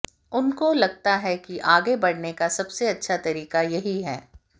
उनको लगता है कि आगे बढऩे का सबसे अच्छा तरीका यही है